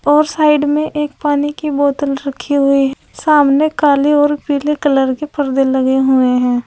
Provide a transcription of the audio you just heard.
और साइड में एक पानी की बोतल रखी हुई है सामने काले और पीले कलर के पर्दे लगे हुए हैं।